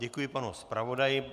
Děkuji panu zpravodaji.